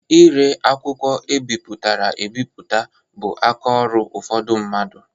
Ire akwụkwọ e bipụtara ebipụta bụ aka ọrụ ụfọdụ mmadụ.